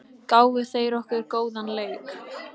Gáfu þeir okkur góðan leik?